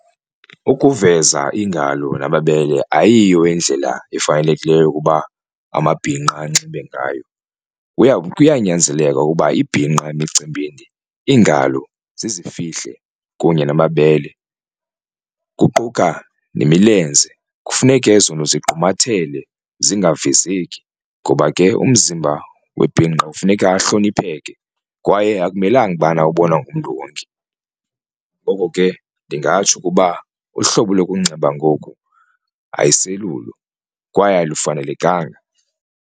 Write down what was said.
Ukuveza iingalo namabele ayiyo indlela efanelekileyo yokuba amabhinqa anxibe ngayo kuyanyanzeleka ukuba ibhinqa emicimbini iingalo zizifihle kunye namabele kuquka nemilenze kufuneke ezonto zigqumathele zingavezeki. Ngoba ke umzimba webhinqa funeka ahlonipheke kwaye akumelanga ubana ubonwa ngumntu wonke. Ngoko ke ndingatsho ukuba uhlobo lokunxiba ngoku ayiselelulo kwaye alufanelenkanga.